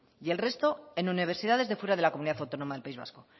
y el resto en universidades de fuera de la comunidad autónoma del país vasco